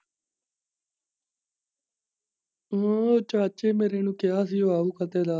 ਉਹ ਚਾਚੇ ਮੇਰੇ ਨੂੰ ਕਿਹਾ ਸੀਗਾ ਵੀ ਫੱਟੇ ਲਾ।